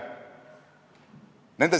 Nende soovil pandi sinna sisse sõna "agiilne".